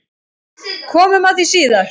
Komum að því síðar.